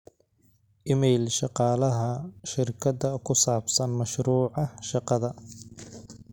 iimayl shaqalaha shirkada ku saabsan mashruuca shaqada